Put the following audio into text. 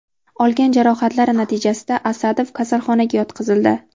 Olgan jarohatlari natijasida Asadov kasalxonaga yotqizildi.